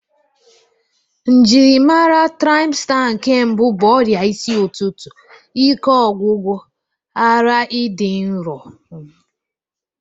Njiri mara traịmsta nke mbụ bụ ọrịa isi ụtụtụ, ike ọgwụgwụ, ara ịdị nrọ wdg.